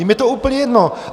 Jim je to úplně jedno.